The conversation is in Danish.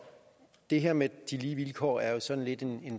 det her med de lige vilkår er jo sådan lidt en